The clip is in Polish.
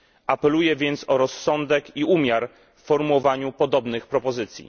Apeluję więc o rozsądek i umiar w formułowaniu podobnych propozycji.